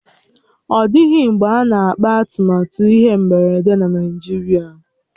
Ọ dịghị mgbe a na-akpà atụmatụ ihe mberede na Naijiria